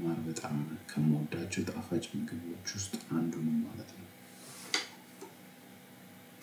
ማር በጣም ከምወዳቸው ጣፋጭ ምግቦች ውስጥ አንዱ ነው ማለት ነው።